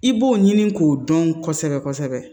I b'o ɲini k'o dɔn kosɛbɛ kosɛbɛ